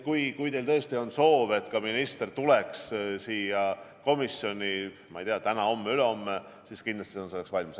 Aga kui teil tõesti on soov, et ka minister tuleks siia komisjoni täna, homme või ülehomme, siis kindlasti on ta selleks valmis.